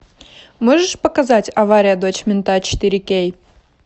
можешь показать авария дочь мента четыре кей